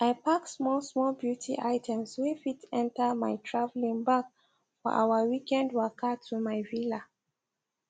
i pack smallsmall beauty items wey fit enter my travelling bag for our weekend waka to my villa